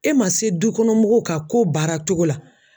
E man se dukɔnɔmɔgɔw ka ko baara cogo la.